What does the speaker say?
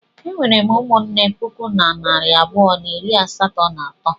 Ee, e nwere m ụmụnne puku na narị abụọ na iri asatọ na atọ.